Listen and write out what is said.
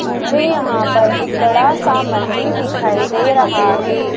मुझे यहां पर एक बड़ा सा मंदिर दिखाई दे रहा है।